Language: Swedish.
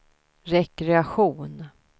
rekreation